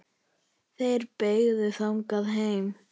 Þeir beygðu þangað heim.